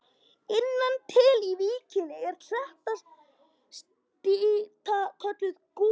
Innan til í víkinni er klettastrýta kölluð Goð.